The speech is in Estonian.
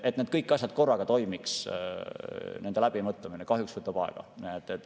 Et need kõik asjad korraga toimiks, selle läbimõtlemine kahjuks võtab aega.